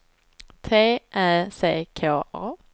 T Ä C K A